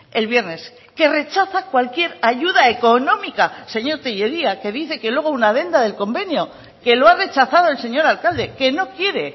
el viernes que rechaza cualquier ayuda económica señor tellería que dice que luego una adenda del convenio que lo ha rechazado el señor alcalde que no quiere